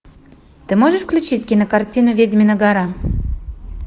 ты можешь включить кинокартину ведьмина гора